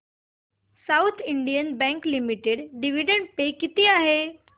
south Indian Bank Limited dividend pay किती आहे